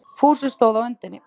Fúsi stóð á öndinni.